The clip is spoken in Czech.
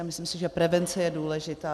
A myslím si, že prevence je důležitá.